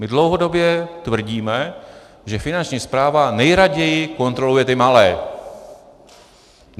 My dlouhodobě tvrdíme, že Finanční správa nejraději kontroluje ty malé.